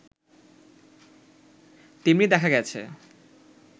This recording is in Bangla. তেমনি দেখা গেছে